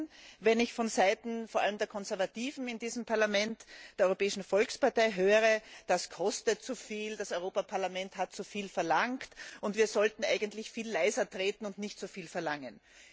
Ich bin erstaunt, wenn ich von Seiten vor allem der Konservativen in diesem Parlament, der Europäischen Volkspartei, höre, das kostet zu viel, das Europaparlament hat zu viel verlangt und wir sollten eigentlich viel leiser treten und nicht so viel verlangen.